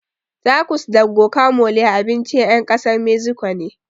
Takos da gokamole abincin ƴan ƙasar meziko ne